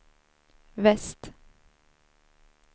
väst